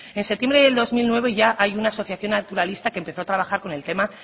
en septiembre del dos mil nueve ya hay una asociación naturalista que empezó a trabajar con el tema